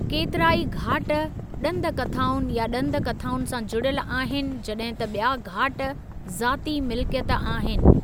केतिरा ई घाट ॾंद कथाउनि या ॾंद कथाउनि सां जुड़ियल आहिनि जॾहिं त ॿिया घाट ज़ाती मिलिकियत आहिनि।